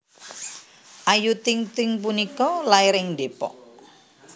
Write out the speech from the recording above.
Ayu Ting Ting punika lair ing Depok